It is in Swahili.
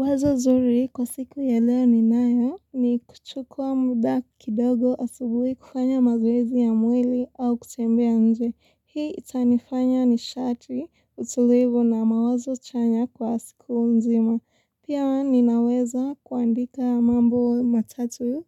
Wazo nzuri kwa siku ya leo ni nayo ni kuchukua muda kidogo asubuhi kufanya mazoezi ya mwili au kutembea nje. Hii itanifanya ni shati utulivu na mawazo chanya kwa siku mzima. Pia ninaweza kuandika mambo matatu